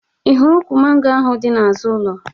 Ị hụrụ ukwu mango ahụ dị n'azụ ụlo?